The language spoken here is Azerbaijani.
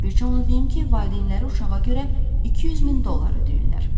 Bircə onu deyim ki, valideynləri uşağa görə 200 min dollar ödəyirlər.